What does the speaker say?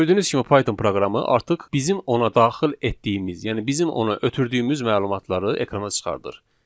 Gördüyünüz kimi Python proqramı artıq bizim ona daxil etdiyimiz, yəni bizim ona ötürdüyümüz məlumatları ekrana çıxarır.